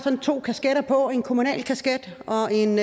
to kasketter på en kommunal kasket og en